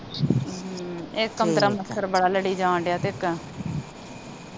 ਇਸ ਕਮਰੇ ਚ ਮੱਛਰ ਬੜਾ ਲੜੀ ਜਾਣ ਡੇਆ